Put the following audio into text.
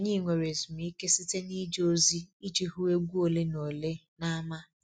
Anyị nwere ezumike site n'ije ozi iji hụ egwu ole na ole n'ámá.